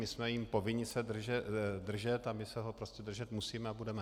My jsme jím povinni se držet a my se ho prostě držet musíme a budeme.